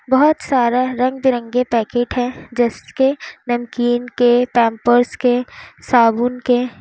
बहुत सारा रंग बिरंगे पैकेट हैं जिसके नमकीन के पैंपर्स के साबुन के।